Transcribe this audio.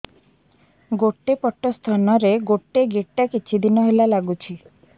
ଗୋଟେ ପଟ ସ୍ତନ ରେ ଗୋଟେ ଗେଟା କିଛି ଦିନ ହେଲା ଲାଗୁଛି